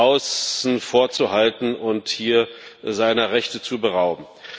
außen vor zu halten und hier seiner Rechte zu berauben.